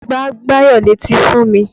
Gbá Báyọ̀ létí fún mi!